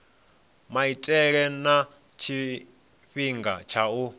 maitele na tshifhinga tsha u